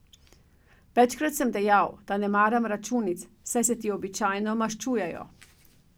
Večkrat sem dejal, da ne maram računic, saj se ti običajno maščujejo.